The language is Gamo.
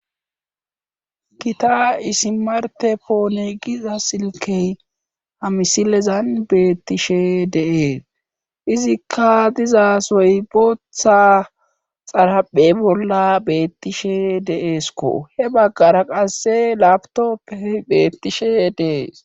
Gita isimarte poone giza silkey hamisilezan beettishe deees izikka dizasoy booththa xaraphe bolla beettishe deeesko he baggara qasse laptoppe beettishe dees.